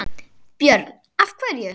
Björn: Af hverju?